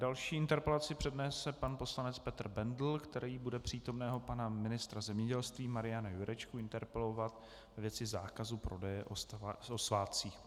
Další interpelaci přednese pan poslanec Petr Bendl, který bude přítomného pana ministra zemědělství Mariana Jurečku interpelovat ve věci zákazu prodeje o svátcích.